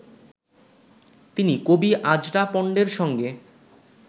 তিনি কবি আজরা পন্ডের সঙ্গে